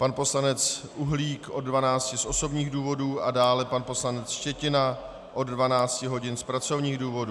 Pan poslanec Uhlík od 12.00 z osobních důvodů a dále pan poslanec Štětina od 12.00 hodin z pracovních důvodů.